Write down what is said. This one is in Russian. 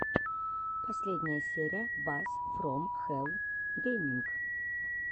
последняя серия бас фром хэлл гейминг